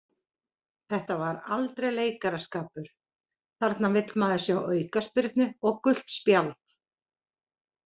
Þetta var aldrei leikaraskapur, þarna vill maður sjá aukaspyrnu og gult spjald.